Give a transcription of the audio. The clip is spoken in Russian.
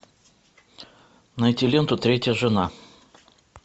найти ленту третья жена